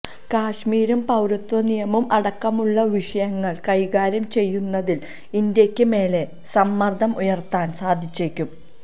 കശ്മീരും പൌരത്വ നിയമവും അടക്കമുളള വിഷയങ്ങള് കൈകാര്യം ചെയ്യുന്നതില് ഇന്ത്യയ്ക്ക് മേല് സമ്മര്ദ്ദം ഉയര്ത്താന് സാധിച്ചേക്കും